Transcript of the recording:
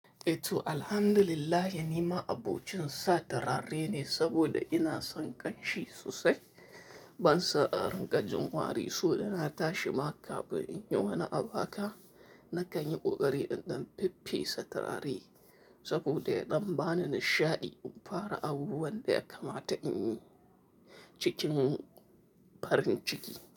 Eh to alhamdulillah, yanima abokin satarare ne saboda ina son ƙanshi sosai. Ban sa a ranka jimwari so ya na tashi ma, kafin in yi wani abu haka. Na kan yi ƙoƙari in ɗan feffesa turare saboda ya ɗan bani nishaɗi in fara abubuwan da ya kamata in yi cikin farin ciki.